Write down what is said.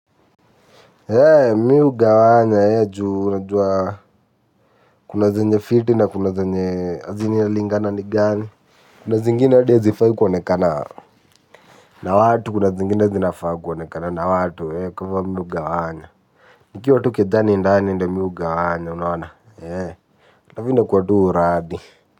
Eeh! Mi hugawanya juu unajua kuna zenye fiti na kuna zenye azin inalingana ni gani. Kuna zingine hadi hazifai kuonekana. Na watu kuna zingine zinafaa kuonekana na watu. Eeh, kwa hivo mi hugawanya. Nikiwa tu kejani ndani ndio mi hugawanya unaona. Eeh! Halafu inakua tu uradi.